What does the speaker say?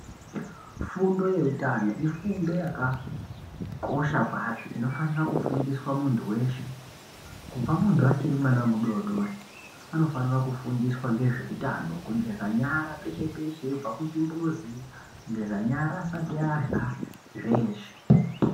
Fundo yehutano ifundo yakakosha kwazvo inofana kufundiswa muntu weshe kubva muntu achiri mudodori anofana kufundiswa ngezvehutano kugeza nyara peshe peshe eibva kuchimbuzi kugeza nyara asati Arya zveshe.